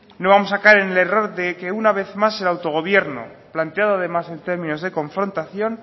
no vamos a caer en el error de que una vez más el autogobierno planteado además en términos de confrontación